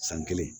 San kelen